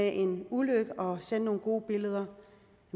en ulykke og sender nogle gode billeder